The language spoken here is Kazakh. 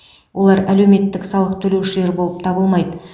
олар әлеуметтік салық төлеушілер болып табылмайды